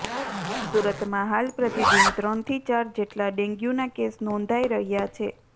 સુરતમાં હાલ પ્રતિદિન ત્રણથી ચાર જેટલા ડેન્ગ્યુના કેસ નોંધાઇ રહ્યા છે